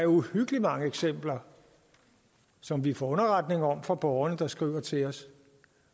uhyggelig mange eksempler som vi får underretning om fra borgerne der skriver til os